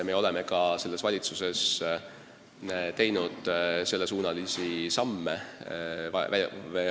Me olemegi ka selles valitsuses selles suunas samme astunud.